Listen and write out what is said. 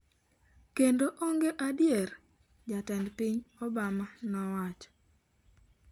Kendo onge adier'', Jatend piny Obama nowacho.